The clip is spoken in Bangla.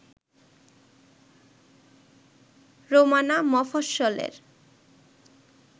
রোমানা মফস্বলে